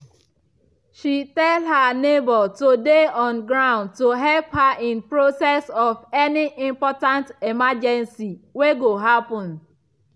she tell her neighbor to dey on ground to help her in process of any important emergency wey go happen